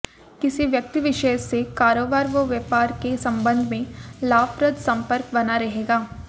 किसी व्यक्ति विशेष से कारोबार व व्यापार के संबंध में लाभप्रद सम्पर्क बना रहेगा